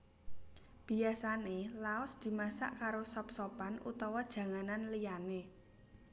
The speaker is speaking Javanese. Biyasané laos dimasak karo sop sopan utawa janganan liyané